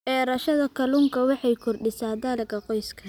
Beerashada kalluunka waxay kordhisaa dakhliga qoyska.